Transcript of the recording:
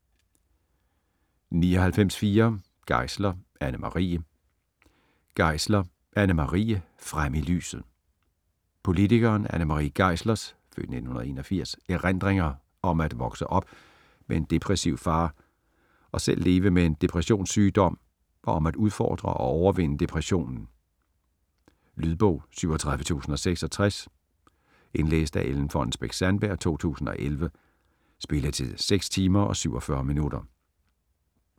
99.4 Geisler, Anne Marie Geisler, Anne Marie: Frem i lyset Politikeren Anne Marie Geislers (f. 1981) erindringer om at vokse op med en depressiv far og selv leve med en depressionssygdom og om at udfordre og overvinde depressionen. Lydbog 37066 Indlæst af Ellen Fonnesbech-Sandberg, 2011. Spilletid: 6 timer, 47 minutter.